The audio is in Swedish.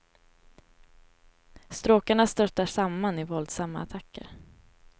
Stråkarna störtar samman i våldsamma attacker.